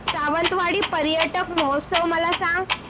सावंतवाडी पर्यटन महोत्सव मला सांग